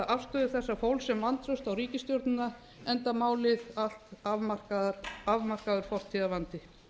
afstöðu þessa fólks sem vantraust á ríkisstjórnina enda málið allt afmarkaður fortíðarvandi